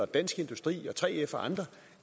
dansk industri og 3f og andre